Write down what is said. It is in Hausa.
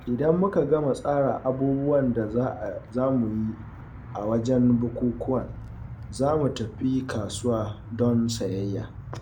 Idan muka gama tsara abubuwan da za mu yi a wajen bukukkuwan, za mu tafi kasuwa don sayayya.